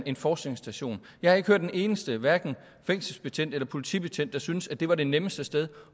en forskningsstation jeg har ikke hørt en eneste hverken fængselsbetjent eller politibetjent der syntes at det var det nemmeste sted